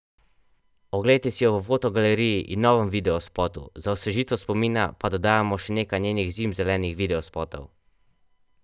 Oglejte si jo v fotogaleriji in novem videospotu, za osvežitev spomina pa dodajamo še nekaj njenih zimzelenih videospotov!